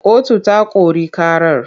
Kotu ta kori ƙarar.